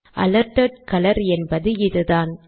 alerted colour என்பது இதுதான்